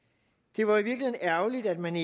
det var i virkeligheden ærgerligt at man